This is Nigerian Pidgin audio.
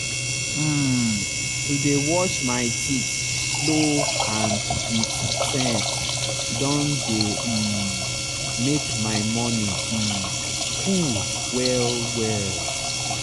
um to dey wash my teeth slow and with sense don dey um make my morning um cool well well.